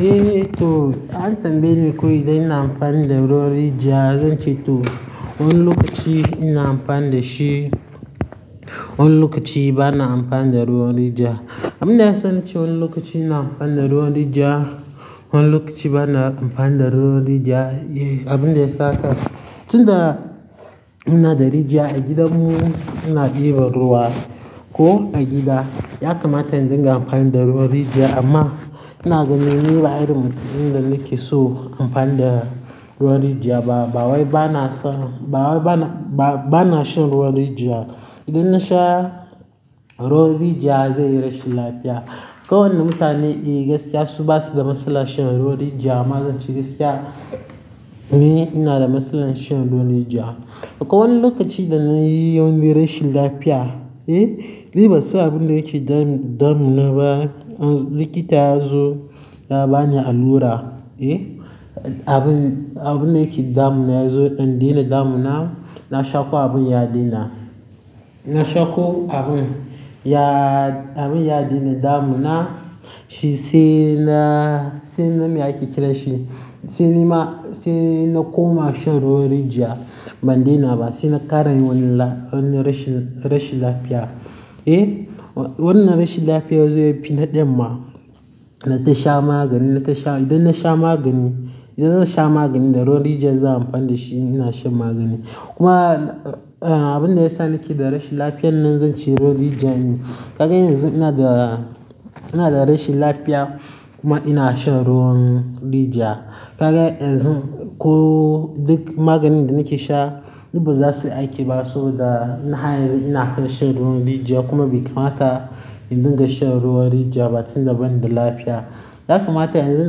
Eh, to an tambaye ni ko idan ina amfani da ruwan rijiya, zan ce to. Wani lokacin ina anfani dashi wani lokaci bana anfaninda ruwan rijiya. Abin da ya sa naci wani lokaci ina amfani da ruwan rijiya, wani lokaci bana amfani da ruwan rijiya, eh abin da ya saka. Tun da muna da rijiya a gidanmu, muna ɗiba ruwa ko a gida. Ya kamata in dinga amfani da ruwan rijiya, amma ina ganin ni ba iri mutum inda nake so amfani da ruwan rijiya ba. Bawai bana son, bawai bana, ba, bana shan ruwan rijiya. Idan nasha ruwan rijiya zan yi rashin lafiya. Ko wani mutane, eh gaskiya su basu da matsala shan ruwan rijiya, amma zan ce gaskiya, ni ina da matsalar shan ruwan rijiya. Akwai wani lokaci da na yi wani birashin lafiya, eh, ni bani sa abin da yake damuna ba. Likita ya zo ya bani allura, eh, abin, abin da yake damuna ya zo ya dan daina damuna. Na shaƙo abin ya daina. Na shaƙo abin, ya-- abin ya daina damuna, shi sai na, sai nan me ake kira shi, sai nima, sai na koma shan ruwan rijiya ban daina ba. Sai na ƙara yawanin la-- wannan rashin, rashin lafiya, eh. Wannan rashin lafiya zai fi naɗe ma na tasha magani, na tasha. Idan nasha magani, idan zan sha maganin da ruwan rijiya zan amfani da shi, ina shan magani. Kuma, eh, abin da ya sa nake da rashin lafiyar nan zan ce ruwan rijiya ne. Ka ga yanzu ina da, ina da rashin lafiya kuma ina shan ruwan rijiya. Ka ga yanzu ko duk maganin da nake sha duk ba za su yi aiki ba so da na har yanzu ina kan shan ruwan rijiya kuma bai kamata in dinga shan ruwan rijiya ba tun daban da lafiya. Ya kamata yanzu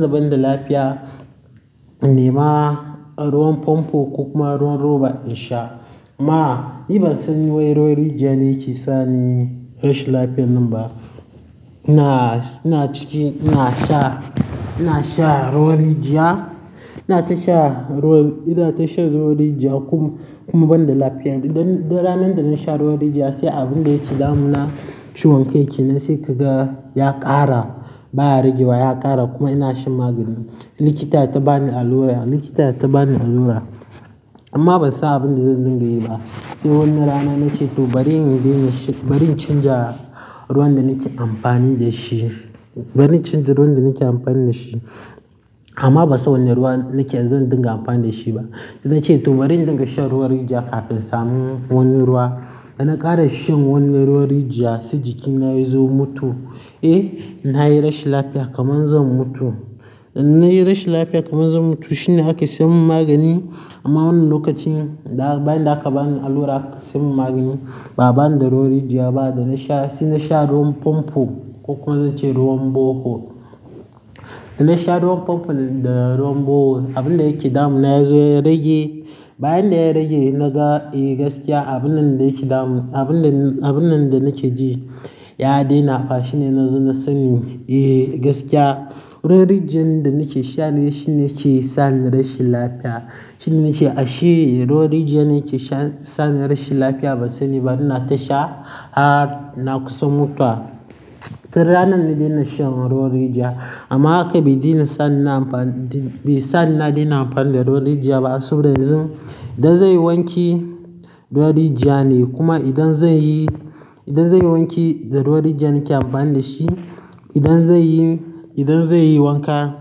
daban da lafiya, in ni ma ruwan famfo ko kuma ruwan roba in sha. Amma ni bani son wai ruwan rijiya ne yake sani rashin lafiyar nan ba. Ina, ina ciki, ina sha, ina sha ruwan rijiya, ina ta sha ruwan, ina ta sha ruwan rijiya kuma, kuma ban da lafiya. Tun ranar da na sha ruwan rijiya sai abin da yake damuna ciwon ciki na sai ka ga ya ƙara baya rage ba, ya ƙara kuma ina shan magani. Likita ya ta bani allura, likita ya ta bani allura, amma ban sa abin da zan dinga yi ba. Sai wani rana na ce to bari in daina shi, bari in canja ruwan da nake amfani da shi. Bari in canja ruwan da nake amfani da shi. Amman bansan wane ruwa nike zan dinga anfani dashi ba na ce to bari in dinga shan ruwan rijiya kafin sami wani ruwa. Da na ƙara shan wannan ruwan rijiya, sai jikina ya zo mutu. Eh, na yi rashin lafiya kaman zan mutu. Na yi rashin lafiya kaman zan mutu shine ake sai min magani. Amma wannan lokacin bayan da aka bani allura samin magani, ba bani da ruwan rijiya ba. Da na sha, sai na sha ruwan famfo ko kuma zan ce ruwan bore hole. Da na sha ruwan famfo da ruwan bore hole, abin da yake damuna ya zo ya rage. Bayan da ya rage, na ga, eh gaskiya abunnan da yake damu, abun da, abunnan da nake ji ya daina. Fa shine na zo na sani, eh gaskiya ruwan rijiyar da nake sha ne shine ke sani rashin lafiya. Shine nace, ashei ruwan rijiya ne ke sha-- sani rashin lafiya. Ban sani ba ina ta sha, a, na kusa mutuwa tun ranar da dinan shan ruwan rijiya. Amma haka bai daina sani na amfani, bai sa ni na daina amfani da ruwan rijiya ba. Saboda yanzu idan zai wanke ruwan rijiya ne, kuma idan zai yi, idan zai wanke da ruwan rijiya nake amfani da shi. Idan zai yi, idan zan yi wanka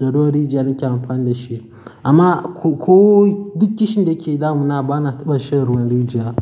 da ruwan rijiya nake amfani da shi. Amma ko duk kishin da ke damuna bana ta ban shan ruwan rijiya.